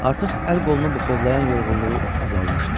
Artıq əl qolunu buxovlayan yorğunluğu azalmışdı.